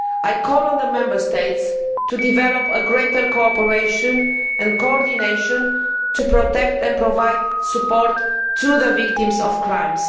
I call on the Member States to develop greater cooperation and coordination to protect and provide support for the victims of crime.